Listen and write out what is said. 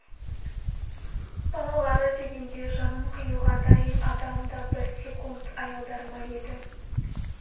балалары дегенде жанын қиюға дайын адам да бір секунд аялдар ма еді